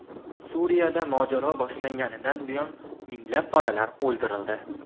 Suriyada mojaro boshlanganidan buyon minglab bolalar o‘ldirildi.